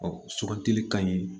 sugandili ka ɲi